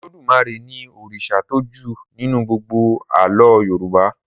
Olódùmarè ní òrìṣà tó jù nínú gbógbó àlọ yorùbá